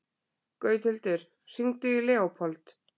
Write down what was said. Gauthildur, hringdu í Leópold.